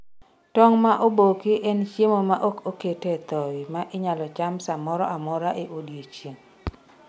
tong' momoki en chiemo ma ok okete thowi ma inyalo cham samoro amora e odiochieng'